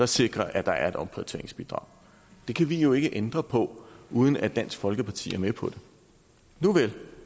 sikrer at der er et omprioriteringsbidrag det kan vi jo ikke ændre på uden at dansk folkeparti er med på det nuvel